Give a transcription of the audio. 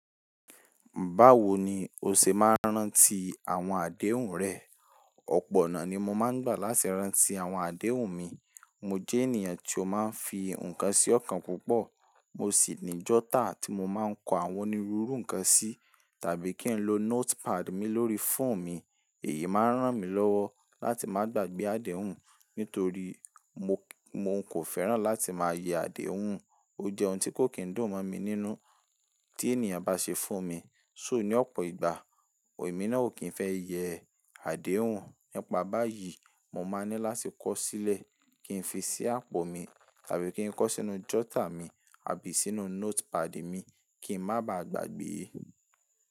Báwo ni o ṣe máa ń rántí àwọn àdéhùn rẹ? Ọ̀pọ̀ ọ̀nà ni mo máa ń gbà láti rántí àwọn àdéhùn mi. Mo jẹ́ ènìyàn tí ó máa ń fi nǹkan sí ọ̀kan púpọ̀. Mo sì ní jotter tí mo máa ń kọ àwọn onírúurú nǹkan sí, tàbí kí n lo notepad mi lórí fóònù mi. Èyí máa ń ràn mí lọ́wọ́ láti má gbàgbé àdéhùn, nítorí mo kò fẹ́ràn láti máa yẹ àdéhùn. Ó jẹ́ ohun tí kò kí ń dùn mọ́ mi nínú tí ènìyàn bá ṣe fún mi. So ní ọ̀pọ̀ ìgbà, èmi náà ò kí ń fẹ́ yẹ àdéhùn. Nípa báyìí, mo máa ní láti kọ ó sílẹ̀ kí n fi sí àpò mi, tàbí kí n kọ sínú jotter mi àbí sínú notepad mi kí ń má ba à gbàgbé é.